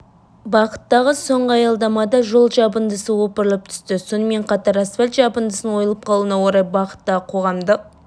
бағыттағы соңғы аялдамада жол жабындысы опырылып түсті сонымен қатар асфальт жабындысының ойылып қалуына орай бағыттағы қоғамдық